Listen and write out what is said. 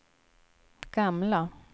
gamla